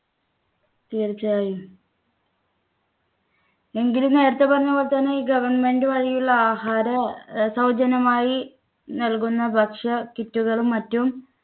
തീർച്ചയായും എങ്കിലും നേരത്തെ പറഞ്ഞപോലെ തന്നെ ഈ government വഴിയുള്ള ആഹാര സൗജന്യമായി നൽകുന്ന ഭക്ഷ്യ kit കളും മറ്റും